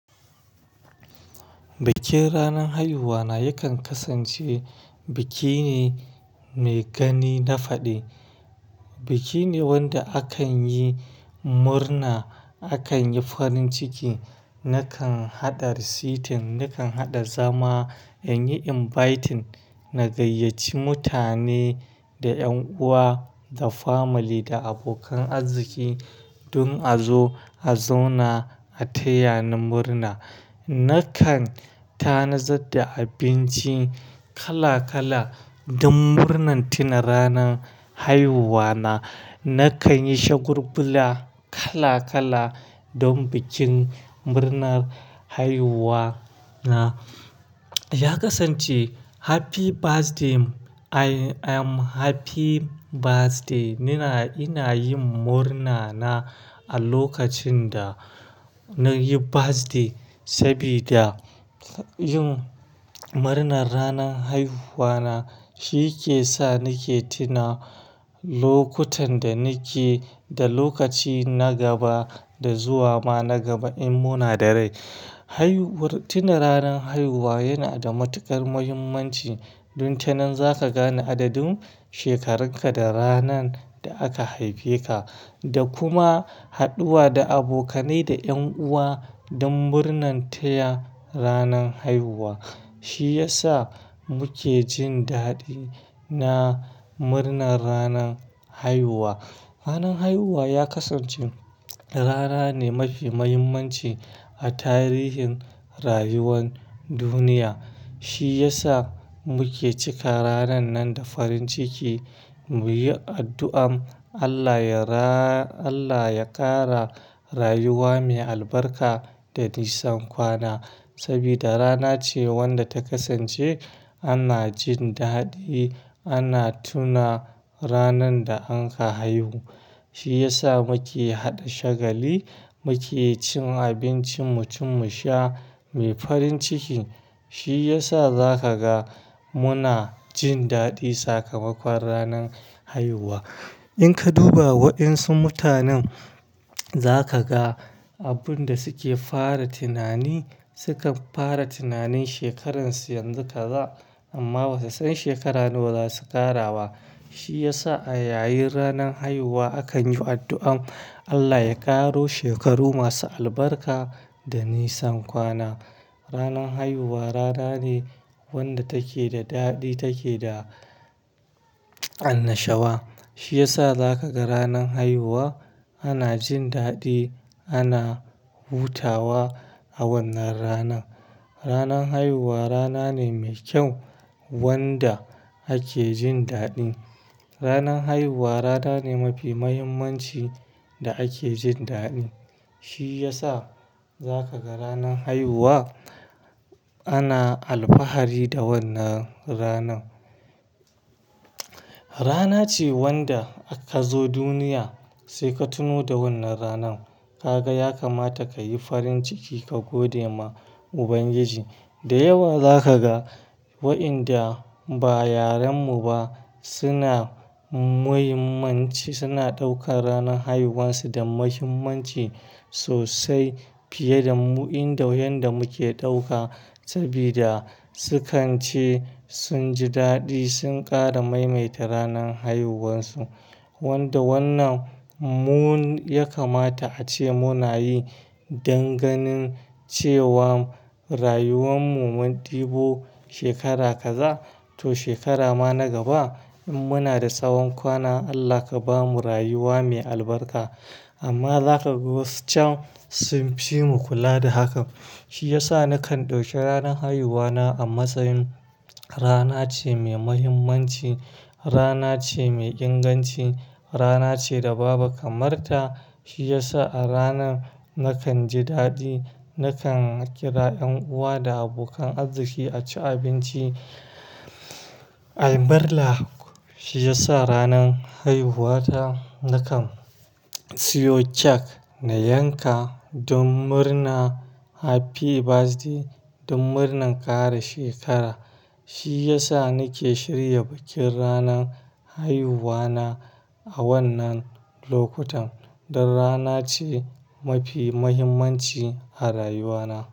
Bikin ranar haihuwana yakan kasance biki ne mai gani na faɗi. Biki ne wanda akan yi murna, akan yi farin ciki. Nakan haɗa sitting, nakan haɗa zama, in yi inviting, na gayyaci mutane da ƴan uwa da family da abokan arziki don a zo a zauna a tayani murna. Nakan tanadar da abinci kala kala don murnan tuna ranar haihuwa na. Nakan yi shagulgula kala kala don bikin murnar haihuwa na. Ya kasance happy birthday, I am happy birthday. Ina, ina yin murna na a lokacin da na yi birthday saboda yin murnar ranar haihuwa na shi ke sa nake tuna lokutan da nake da lokaci na gaba da zuwa ma na gaba in muna da rai. Haihu-- tuna ranar haihuwa yana da matuƙar muhimmanci don tanan zaka gane adadin shekarunka da ranar da aka haife ka. Da kuma haduwa da abokanai da ƴan uwa don murnan taya ranan haihuwa shi ya sa muke jin daɗi na murnar ranan haihuwa. Ranar haihuwa ya kasance rana ne mafi muhimmanci a tarihin rayuwan duniya. Shiyasa muke cika ranan nan da farin ciki muyi addu'an Allah ya ra-- Allah ya ƙara rayuwa mai albarka da nisan kwana. Saboda rana ce wanda ta kasance anajin daɗi ana tuna ranar da anka haihu. Shiyasa muke haɗa shagali, muke cin abincin mu cin mu sha muyi farin ciki. Shiyasa zakaga muna jin daɗi sakamakon ranan haihuwa. In kaduba waɗansu mutanen zakaga abunda suke fara tunani, suka fara tunanin shekaransu yanzu kaza amma basusan shekara nawa zasu ƙarawa. Shiyasa a yayin ranan haihuwa akan yi addu'an Allah ya ƙaro shekaru masu albarka da nisan kwana. Ranar haihuwa rana ne wanda take da daɗi take da annashawa. Shiyasa zakaga ranan haihuwa ana jindaɗi ana hutawa a wannan rana. Ranar haihuwa rana ne mai kyau wanda ake jin daɗin. Ranar haihuwa rana ne mafi muhimmanci da ake jindaɗin. Shiyasa zakaga ranan haihuwa ana alfahari da wannan rana. Rana ce wanda ka zo duniya sai ka tuno da wannan rana kaga ya kamata kayi farin ciki ka godema Ubangiji. Da yawa zakaga waɗanda ba yaren mu ba suna muhimmanci suna ɗaukar ranar haihuwansu da muhimmanci sosai fiye damu inda yanda muke ɗauka. Saboda sukan ce sun ji daɗi sun ƙara maimaita ranar haihuwansu. Wanda wannan mun yakamata ace muna yi danganin cewa rayuwanmu mun ɗibo shekara kaza to shekara ma na gaba in muna da tsawon kwana Allah ka bamu rayuwa mai albarka. Amma zakaga wasu can sunfimu kula da hakan. Shiyasa nakan ɗauki ranar haihuwa na a matsayin rana ce mai muhimmanci, rana ce mai inganci, rana ce da babu kamar ta. Shiyasa a rana nakan ji daɗi, nakan kira ƴan uwa da abokan arziki a ci abinci, ayi murna. Shiyasa ranan haihuwa ta nakan siyo kek na yanka don murna happy birthday don murnan ƙara shekara. Shiyasa nake shirya bikin ranan haihuwa na a wannan lokutan dan rana ce mafi muhimmanci a rayuwa na.